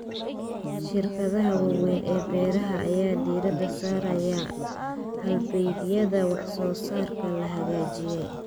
Shirkadaha waaweyn ee beeraha ayaa diiradda saaraya halbeegyada wax-soo-saarka la hagaajiyay.